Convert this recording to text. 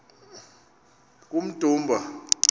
kummdumba